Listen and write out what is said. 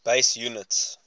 base units